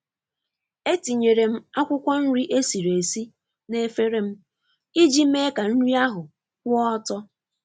Etinyere m akwụkwọ nri esiri esi n'efere m iji mee ka nri ahụ kwụọ ọtọ.